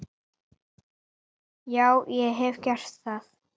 Já, ég hef gert það.